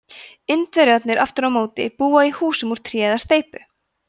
indverjarnir aftur á móti búa í húsum úr tré eða steypu